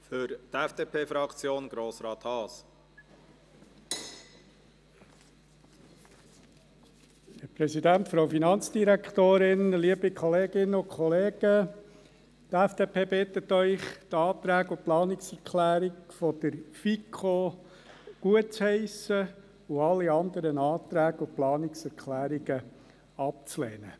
Die FDP-Fraktion bittet Sie, die Anträge und Planungserklärungen der FiKo gutzuheissen und alle anderen Anträge und Planungserklärungen abzulehnen.